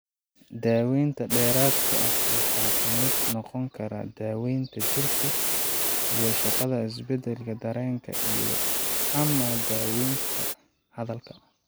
Daawaynta dheeraadka ah waxaa ka mid noqon kara daaweynta jirka iyo shaqada, isdhexgalka dareenka, iyo ama daaweynta hadalka.